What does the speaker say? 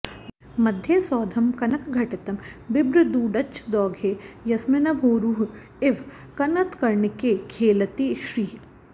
मध्ये सौधं कनकघटितं बिभ्रदूढच्छदौघे यस्मिन्नम्भोरुह इव कनत्कर्णिके खेलति श्रीः